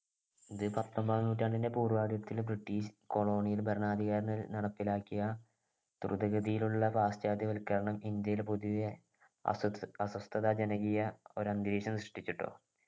ഇത് പത്തൊമ്പതാം നൂറ്റാണ്ടിൻ്റെ പൂർവാദ്യത്തില് british colonial ഭരണാധികാരികൾ നടപ്പിലാക്കിയ ദ്രുതഗതിയിലുള്ള പാശ്ചാത്യവൽക്കരണം ഇന്ത്യയിൽ പൊതുവേ അസ്വസ് അസ്വസ്ഥത ജനകീയ ഒരു അന്തരീക്ഷം സൃഷ്ടിച്ചുട്ടോ